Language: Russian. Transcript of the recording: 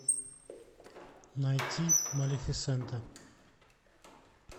найти малефисента